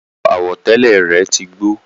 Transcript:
Aṣọ àwọ̀tẹ́lẹ̀ rẹ̀ tí gbó